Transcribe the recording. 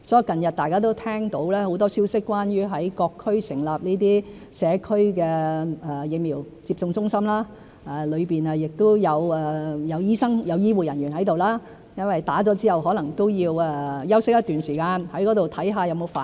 近日大家都聽到很多關於在各區成立社區疫苗接種中心的消息，當中會有醫生和醫護人員在場，因為市民接種後可能也要在中心休息一段時間，看看有沒有反應。